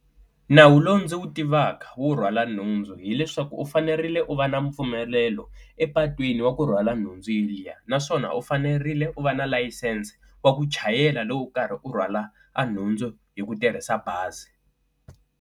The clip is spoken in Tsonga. Nawu lowu ndzi wu tivaka wo rhwala nhundzu hileswaku u fanerile u va na mpfumelelo epatwini wa ku rhwala nhundzu yaliya, naswona u fanerile u va na layisense wa ku chayela loko u karhi u rhwala nhundzu hi ku tirhisa bazi.